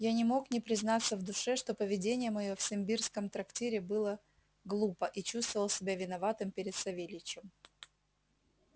я не мог не признаться в душе что поведение моё в симбирском трактире было глупо и чувствовал себя виноватым перед савельичем